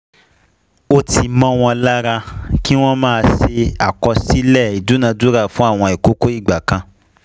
ó ti mó won lára ki wọ́n máa ṣe àkọsílẹ̀ ìdúnadúrà fún àwọn àkókò ìgbà kan*